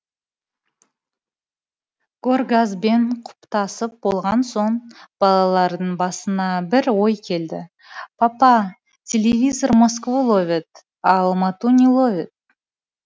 горгазбен құптасып болған соң балалардың басына бір ой келді папа телевизор москву ловит а алмату не ловит